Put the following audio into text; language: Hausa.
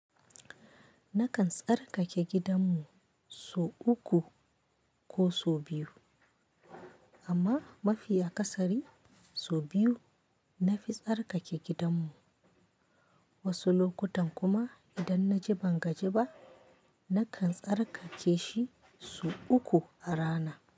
Nakan tsarkake gidanmu so uku ko so biyu, amma mafiya kasari so biyu na fi tsarkake gidanmu. Wasu lokutan kuma idan na ji ban gaji ba, nakan tsarkake shi so uku a rana.